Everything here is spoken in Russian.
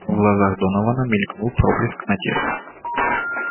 в глазах донована мелькнул проблеск надежды